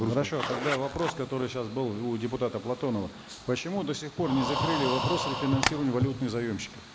тогда вопрос который сейчас был у депутата платонова почему до сих пор не закрыли вопрос рефинансирования валютных заемщиков